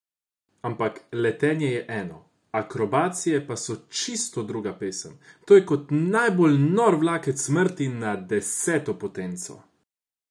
Ampak letenje je eno, akrobacije pa so čisto druga pesem, to je kot najbolj nor vlakec smrti na deseto potenco.